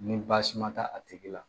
Ni baasi ma taa a tigi la